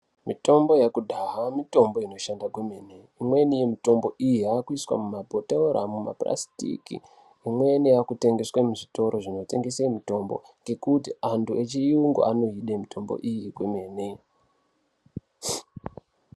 Mitombo yekudhaya mitombo inoshanda kwemene, imweni mitombo iyi yakuiswa mumabhotoro, mumapurasitiki imweni yakutengeswe muzvitoro zvinotengese mitombo ngekuti antu yechiyungu anoide mitombo iyi kwemene.